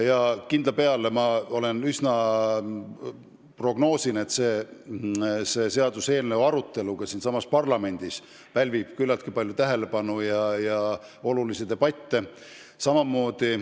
Ja kindla peale, ma juba prognoosin, pälvib selle eelnõu arutelu ka siin parlamendis küllaltki palju tähelepanu ja tekitab olulisi debatte.